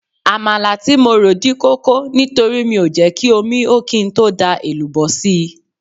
Àmàlà tí mo rò dí kókó nítorí mi ò jẹ́ kí omi ó kí n tó da èlùbọ́ sí i